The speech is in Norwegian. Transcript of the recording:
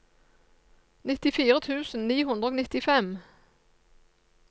nittifire tusen ni hundre og nittifem